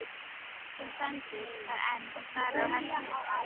Stúlkan stendur þar enn og starir á hestinn.